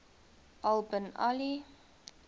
al bin ali